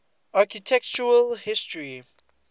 architectural history